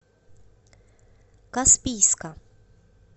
каспийска